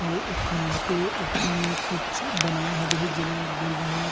आऊ ओ खंभा के ऊपर में कुछ बनाय हाबे हे जेला गुल मोहर--